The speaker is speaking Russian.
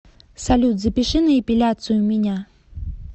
салют запиши на эпиляцию меня